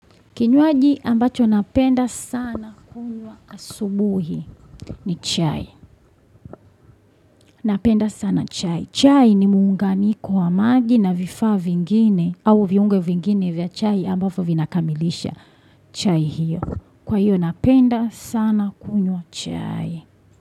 Kinywaji ambacho napenda sana kunywa asubuhi ni chai. Napenda sana chai. Chai ni muunganiko wa maji na vifaa vingine au viungo vingine vya chai ambazo vinakamilisha chai hiyo. Kwa hiyo napenda sana kunwa chai.